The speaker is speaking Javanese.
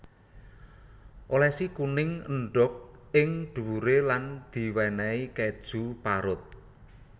Olesi kuning endhog ing dhuwure lan diwenehi keju parut